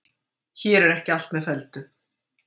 Hér er ekki allt með felldu.